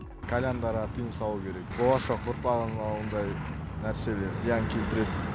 кальяндарға тыйым салу керек болашақ ұрпағыма ондай нәрселер зиян келтіреді